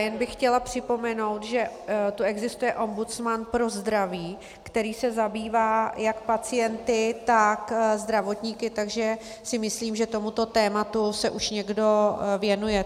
Jen bych chtěla připomenout, že tu existuje ombudsman pro zdraví, který se zabývá jak pacienty, tak zdravotníky, takže si myslím, že tomuto tématu se už někdo věnuje.